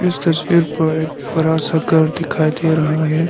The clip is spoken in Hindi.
इस तस्वीर पर एक बड़ा सा घर दिखाई दे रहा है।